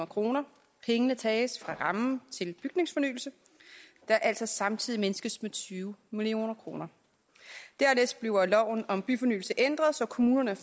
kroner pengene tages fra rammen til bygningsfornyelse der altså samtidig mindskes med tyve million kroner dernæst bliver loven om byfornyelse ændret så kommunerne